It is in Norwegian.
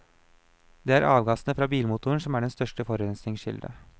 Det er avgassene fra bilmotoren som er den største forurensningskilde.